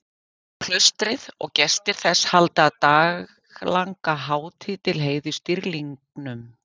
Klaustrið og gestir þess halda daglanga hátíð til heiðurs dýrlingnum.